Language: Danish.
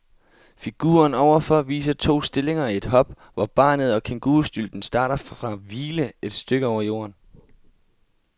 Figuren ovenfor viser to stillinger i et hop, hvor barnet og kængurustylten starter fra hvile et stykke over jorden.